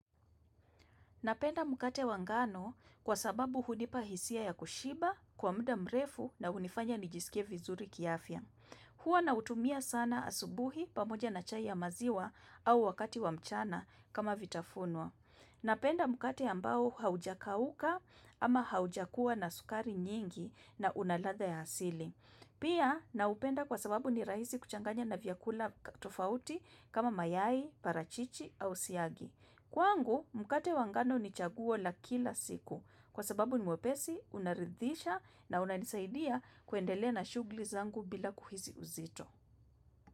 Napenda mkate wa ngano kwa sababu hunipa hisia ya kushiba, kwa muda mrefu na hunifanya nijisikie vizuri kiafya. Hua nautumia sana asubuhi pamoja na chai ya maziwa au wakati wa mchana kama vitafunwa. Napenda mkate ambao haujakauka ama haujakua na sukari nyingi na una ladha ya asili. Pia naupenda kwa sababu ni rahisi kuchanganya na vyakula tofauti kama mayai, parachichi au siagi. Kwangu, mkate wa ngano ni chaguo la kila siku kwa sababu ni mwepesi, unaridhisha na unanisaidia kuendelea na shughuli zangu bila kuhisi uzito.